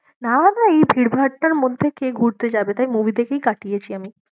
না ভাই ভীড় ভাট্টার মধ্যে কে ঘুরতে যাবে? তাই movie দেখেই কাটিয়েছি আমি।